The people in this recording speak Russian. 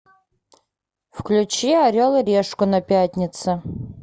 включи орел и решка на пятнице